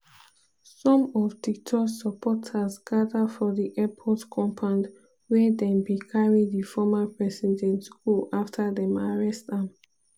some of duterte supporters gada for di airport compound wia dem bin carry di former president go after dem arrest am.